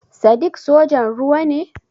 Sadiq sojan ruwa ne?